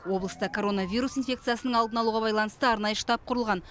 облыста коронавирус инфекциясының алдын алуға байланысты арнайы штаб құрылған